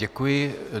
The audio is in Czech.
Děkuji.